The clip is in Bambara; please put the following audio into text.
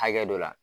Hakɛ dɔ la